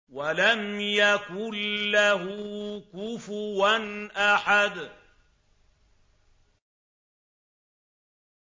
وَلَمْ يَكُن لَّهُ كُفُوًا أَحَدٌ